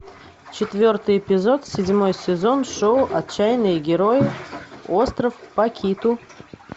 четвертый эпизод седьмой сезон шоу отчаянные герои остров пакиту